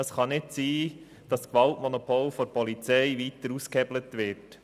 Es kann nicht sein, dass das Gewaltmonopol der Polizei weiter ausgehebelt wird.